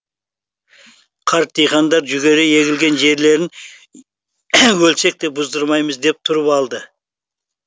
қарт диқандар жүгері егілген жерлерін өлсек те бұздырмаймыз деп тұрып алды